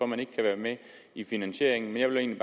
man ikke kan være med i finansieringen men jeg vil